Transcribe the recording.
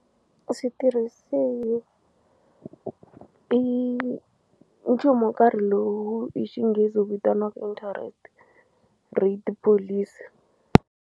U switirhisini i nchumu wo karhi lowu hi xinghezi wu vitaniwaka interest rate policy.